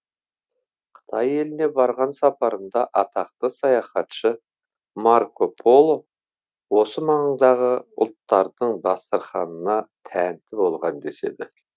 қытай еліне барған сапарында атақты саяхатшы марко поло осы маңдағы ұлттардың дастарханына тәнті болған деседі